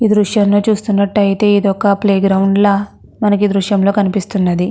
ఈ దృశ్యాన్ని చూస్తునట్టుఅయితే ఇదొక ప్లేగ్రౌండ్ లా మనకి ఈ దృశ్యం లో కనిపిస్తున్నది.